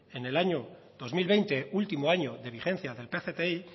en el año dos mil veinte último año de vigencia del pcti